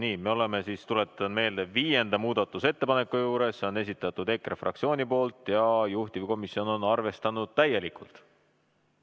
Nii, me oleme siis, tuletan meelde, viienda muudatusettepaneku juures, selle on esitanud EKRE fraktsioon ja juhtivkomisjon on seda arvestanud täielikult.